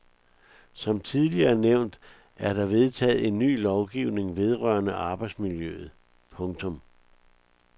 Som tidligere nævnt er der vedtaget en ny lovgivning vedrørende arbejdsmiljøet. punktum